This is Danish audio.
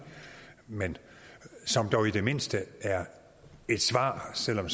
men som dog i det mindste er et svar selv om